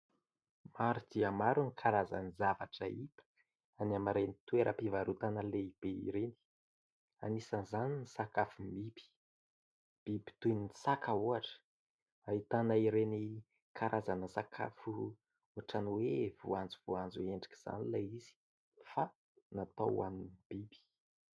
Maro dia maro ny karazan-javatra hita any amin'ireny toeram-pivarotana lehibe ireny. Anisan'izany ny sakafom-biby, biby toy ny saka ohatra. Ahitana ireny karazana sakafo ohatran'ny hoe voanjo voanjo endrika izany ilay izy fa natao hoanin'ny biby.